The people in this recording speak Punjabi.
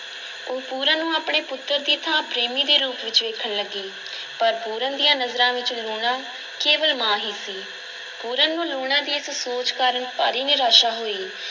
ਉਹ ਪੂਰਨ ਨੂੰ ਆਪਣੇ ਪੁੱਤਰ ਦੀ ਥਾਂ ਪ੍ਰੇਮੀ ਦੇ ਰੂਪ ਵਿੱਚ ਵੇਖਣ ਲੱਗੀ ਪਰ ਪੂਰਨ ਦੀਆਂ ਨਜ਼ਰਾਂ ਵਿੱਚ ਲੂਣਾ ਕੇਵਲ ਮਾਂ ਹੀ ਸੀ, ਪੂਰਨ ਨੂੰ ਲੂਣਾ ਦੀ ਇਸ ਸੋਚ ਕਾਰਨ ਭਾਰੀ ਨਿਰਾਸ਼ਾ ਹੋਈ